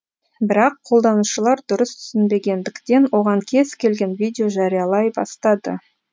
бірақ қолданушылар дұрыс түсінбегендіктен оған кез келген видео жариялай бастайды